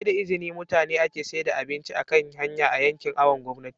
saida izini mutane ake saida abinci akan hanya a yankin awon gomnati